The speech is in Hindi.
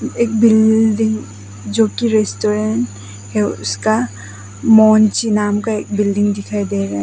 एक बिल्डिंग जो की रेस्टोरेंट है उसका मोन्ची नाम का एक बिल्डिंग दिखाई दे रहा--